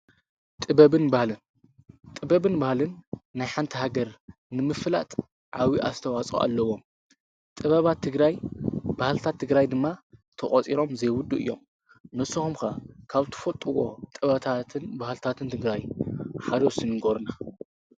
ጥበብን ባህልን ናይ ሓንቲ ሃገር ንምፍላጥ ዓብዬ ኣስተዋፅኦ ኣለዎም፡፡ ጥበባት ትግራይ ባህልታት ትግራይ ድማ ተቖፂሮም ዘይውዱኡ እዮም፡፡ ንስኾም ዘ ካብ ትፈጥዎም ጥበባትን ባህልታትን ትግራይ ሓደ እስቲ ንጐሩና?